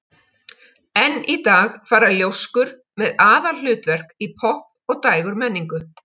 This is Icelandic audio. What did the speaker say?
Enn í dag fara ljóskur með aðalhlutverk í popp- og dægurmenningu.